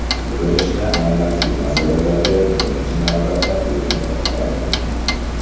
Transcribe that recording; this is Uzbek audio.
Yig‘ilishda aynan shu masalalarga birinchi navbatda e’tibor qaratildi.